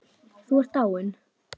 Þú ert dáinn.